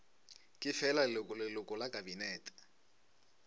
ke fela leloko la kabinete